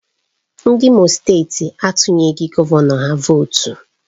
Ndị Imo steeti atunyeghị gọvanọ ha vootu